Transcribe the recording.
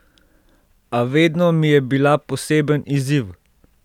A vedno mi je bila poseben izziv.